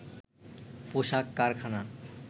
পোশাক কারখানা